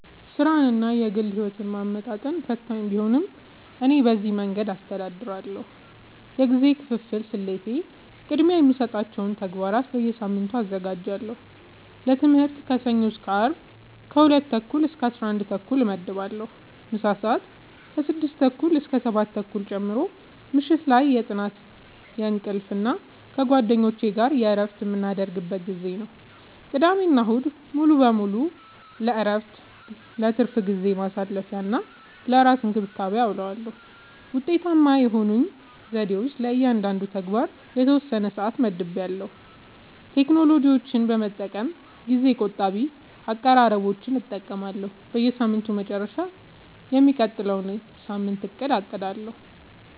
ሥራንና የግል ሕይወትን ማመጣጠን ፈታኝ ቢሆንም፣ እኔ በዚህ መንገድ አስተዳድራለሁ፦ የጊዜ ክፍፍል ስልቴ፦ · ቅድሚያ የሚሰጣቸውን ተግባራት በየሳምንቱ አዘጋጃለሁ · ለትምህርት ከሰኞ እስከ አርብ ከ 2:30-11:30 እመድባለሁ (ምሳ ሰአት 6:30-7:30 ጨምሮ) · ምሽት ላይ የጥናት፣ የእንቅልፍ እና ከጓደኞች ጋር እረፍት የምናደርግበት ጊዜ ነው። · ቅዳሜና እሁድ ሙሉ በሙሉ ለእረፍት፣ ለትርፍ ጊዜ ማሳለፊ፣ እና ለራስ እንክብካቤ አዉለዋለሁ። ውጤታማ የሆኑኝ ዘዴዎች፦ · ለእያንዳንዱ ተግባር የተወሰነ ሰዓት መድቤያለሁ · ቴክኖሎጂን በመጠቀም ጊዜ ቆጣቢ አቀራረቦችን እጠቀማለሁ · በሳምንቱ መጨረሻ የሚቀጥለውን ሳምንት አቅዳለሁ